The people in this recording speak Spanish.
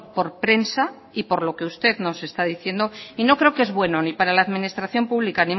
por prensa y por lo que usted nos está diciendo y no creo que es bueno ni para la administración pública